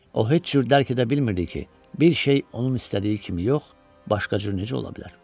O heç cür dərk edə bilmirdi ki, bir şey onun istədiyi kimi yox, başqa cür necə ola bilər.